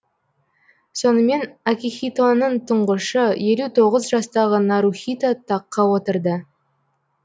сонымен акихитоның тұңғышы елу тоғыз жастағы нарухито таққа отырды